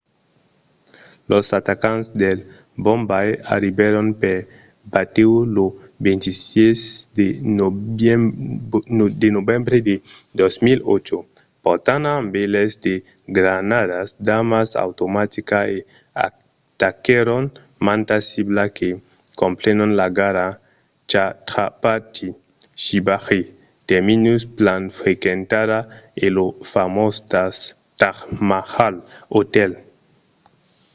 los atacants de bombai arribèron per batèu lo 26 de novembre de 2008 portant amb eles de granadas d'armas automaticas e ataquèron mantas ciblas que comprenon la gara chhatrapati shivaji terminus plan frequentada e lo famós taj mahal hotel